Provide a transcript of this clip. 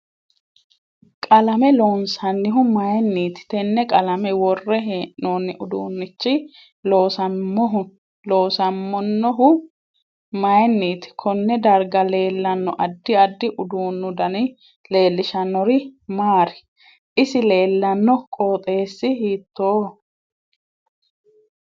Qalame loonsanihu mayiiinti tene qalame worre heenooni uduunichi loosamonohu mayiniiti konne darga leelanno addi addi uduunu dani leelishanori maari isi leelanno qooxeesi hiitooho